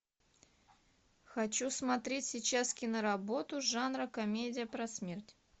хочу смотреть сейчас киноработу жанра комедия про смерть